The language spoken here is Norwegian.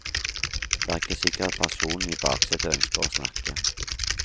Det er ikke sikkert at personen i baksetet ønsker å snakke.